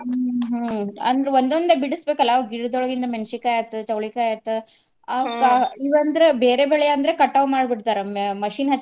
ಹ್ಮ್ ಅಂದ್ರ್ ಒಂದೊಂದ ಬಿಡಸ್ಬೇಕಲ್ಲ ಗಿಡದೊಳಗಿನ್ನ ಮೆಣಸಿಕಾಯಿ ಆತ್ ಚವ್ಳಿಕಾಯಿ ಆತ್ ಇವ ಅಂದ್ರ ಬೇರೆ ಬೆಳೆ ಅಂದ್ರ ಕಟಾವ್ ಮಾಡಿ ಬಿಡ್ತಾರ ಮ~ machine .